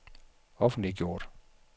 offentliggjort